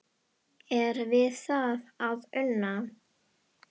Er við það að una?